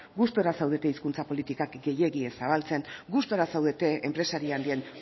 gustura zaudete hizkuntza politikak gehiegi ez zabaltzen gustura zaudete enpresaria handien